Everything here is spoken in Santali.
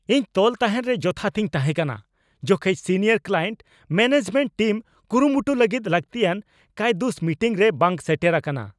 ᱤᱧ ᱛᱚᱞ ᱛᱟᱦᱮᱱ ᱨᱮ ᱡᱚᱛᱷᱟᱛᱤᱧ ᱛᱟᱦᱮᱸ ᱠᱟᱱᱟ ᱡᱚᱠᱷᱮᱡ ᱥᱤᱱᱤᱭᱟᱨ ᱠᱞᱟᱭᱮᱱᱴ ᱢᱮᱹᱱᱮᱡᱢᱮᱱᱴ ᱴᱤᱢ ᱠᱩᱨᱩᱢᱩᱴᱩ ᱞᱟᱹᱜᱤᱫ ᱞᱟᱹᱠᱛᱤᱭᱟᱱ ᱠᱟᱹᱭᱫᱩᱥ ᱢᱤᱴᱤᱝᱨᱮ ᱵᱟᱝ ᱥᱮᱴᱮᱨ ᱟᱠᱟᱱᱟ ᱾